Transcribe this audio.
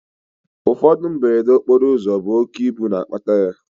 Ụfọdụ mberede okporoụzọ bụ oké ibu na-akpata ya